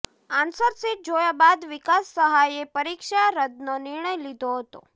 answer sheet જોયા બાદ વિકાસ સહાયે પરિક્ષા રદ્દનો નિર્ણય લીધો હતો